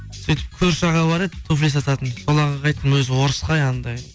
сөйтіп көрші аға бар еді туфли сататын сол ағайға айттым өзі орыс қой анандай